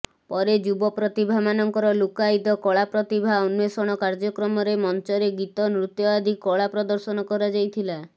ପରେ ଯୁବପ୍ରତିଭା ମାନଙ୍କର ଲୁକ୍କାୟିତ କଳା ପ୍ରତିଭା ଅନ୍ୱେସଣ କାର୍ଯ୍ୟକ୍ରମରେ ମଂଚରେ ଗୀତ ନୃତ୍ୟ ଆଦି କଳା ପ୍ରଦର୍ଶନ କରାଯାଇଥିଲା